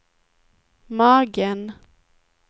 magen